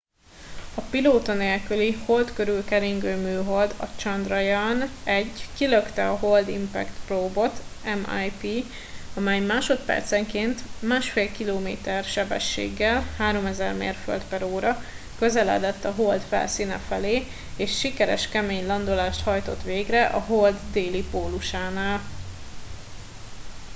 a pilóta nélküli hold körül keringő műhold a chandrayaan-1 kilökte a hold impact probe-ot mip amely másodpercenként 1,5 kilométer sebességgel 3000 mérföld/óra közeledett a hold felszíne felé és sikeres kemény landolást hajtott végre a hold déli pólusánál